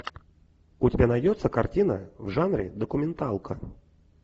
у тебя найдется картина в жанре документалка